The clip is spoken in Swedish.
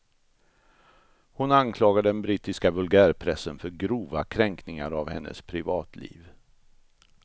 Hon anklagar den brittiska vulgärpressen för grova kränkningar av hennes privatliv.